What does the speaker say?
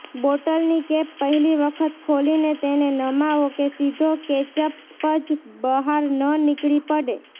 બોટલની cap પહેલી વખત ખોલીને તેને નમાવો કે સીધો કેચઅપ જ બહાર ન નીકળી પડે